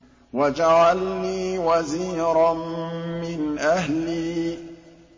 وَاجْعَل لِّي وَزِيرًا مِّنْ أَهْلِي